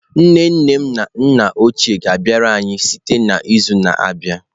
Nne nne na nna ochie ga-abịara anyị site n'izu na-abịa.